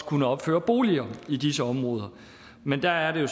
kunne opføre boliger i disse områder men der er det